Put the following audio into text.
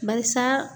Barisa